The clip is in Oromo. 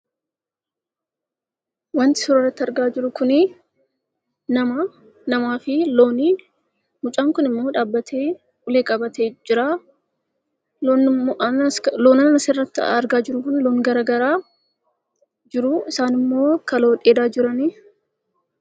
Wanti suuraa irratti argaa jirru kun, namaa fi looni. Mucaan kunimmoo dhaabbatee ulee qabatee jira. Loon asirratti argaa jirru kun loon garagaraa jiru. Isaan immoo kaloo dheedaa jirani.